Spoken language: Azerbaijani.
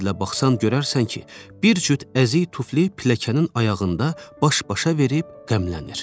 Sən qəllə baxsan görərsən ki, bir cüt əzik tuflu pilləkənin ayağında baş-başa verib qəmlənir.